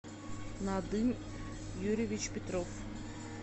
надым юрьевич петров